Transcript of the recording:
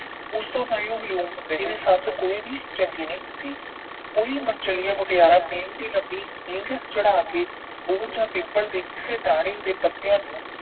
ਉਸ ਤੋਂ ਤਾਂ ਹੀ ਵਿਲੋਮ ਹੁੰਦੇ ਹਨ ਕਿ ਸੱਸ ਕੋਈ ਵੀ ਚੰਗੀ ਨਹੀਂ ਹੁੰਦੀ। ਕਈ ਮਨਚਲੀਆਂ ਮੁਟਿਆਰਾਂ ਪਿੰਘ ਦੀ ਲੰਬੀ ਹਿੰਗ ਚੜਾ ਕੇ ਬੋਹੜ ਜਾਂ ਪਿੱਪਲ ਦੀ ਟਾਹਣੀ ਦੇ ਪੱਤਿਆਂ ਨੂੰ